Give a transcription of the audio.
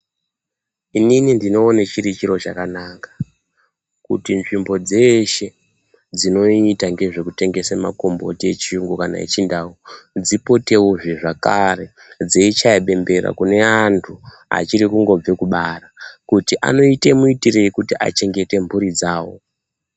Inini ndinoone chiri chiro chakanaka kuti nzvimbo dzeshe dzinoita ngezvekutengese makomboti echiyungu kana echindau dzipotewo zvakare dzechaye bembera kune antu achirikungobve kubara kuti anoite muchengeterei mhuri dzavo.